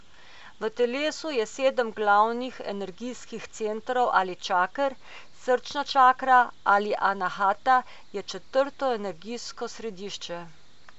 V telesu je sedem glavnih energijskih centrov ali čaker, srčna čakra ali anahata je četrto energijsko središče.